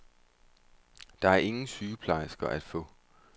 Der er ingen sygeplejersker at få.